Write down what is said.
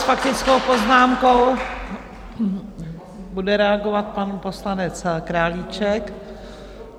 S faktickou poznámkou bude reagovat pan poslanec Králíček.